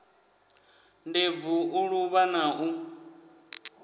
ndebvu u luvha na u